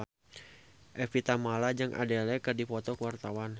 Evie Tamala jeung Adele keur dipoto ku wartawan